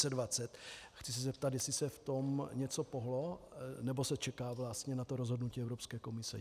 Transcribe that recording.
Chci se zeptat, jestli se v tom něco pohnulo, nebo se čeká vlastně na to rozhodnutí Evropské komise.